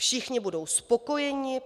Všichni budou spokojeni.